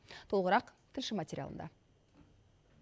толығырақ тілші материалында